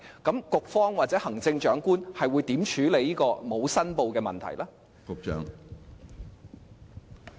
局方或行政長官會如何處理這個不實申報的問題？